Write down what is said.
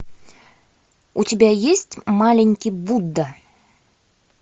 у тебя есть маленький будда